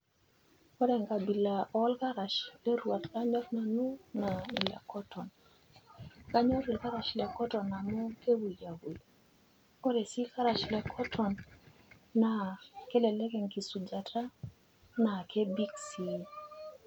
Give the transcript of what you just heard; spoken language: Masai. Kore enkabila olkarash lerwat lanyor nanu naa ile cotton. Kanyor ilkarash le cotton amu kepuyiapui. Ore sii ilkarash le cotton naa kelelek enkisujata naa kebik.